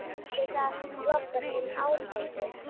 Myndi það flokkast sem árangur??